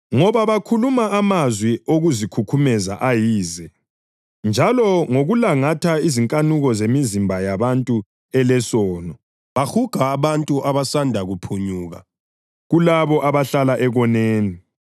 Ngoba bakhuluma amazwi okuzikhukhumeza ayize, njalo ngokulangatha izinkanuko zemizimba yabantu elesono, bahuga abantu abasanda kuphunyuka kulabo abahlala ekoneni.